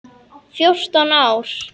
Fjórtán ár!